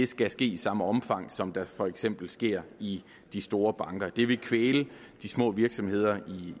skal ske i samme omfang som det for eksempel sker i de store banker det ville kvæle de små virksomheder